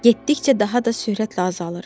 Getdikcə daha da sürətlə azalır.